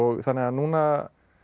þannig að núna